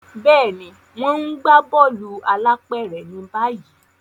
Béèni, wón n gbà bóòlù alápéré ni báyìí